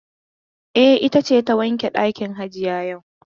E, ita ce ta wanke ɗakin hajiya yau.